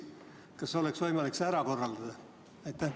Kas oleks võimalik see probleem lahendada?